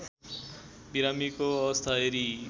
बिरामीको अवस्था हेरी